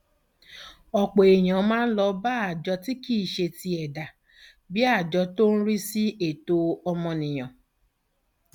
ọpọ èèyàn máa ń lọ bá àjọ tí kì í ṣe ti ẹdá bíi àjọ tó ń rí sí ẹtọ ọmọnìyàn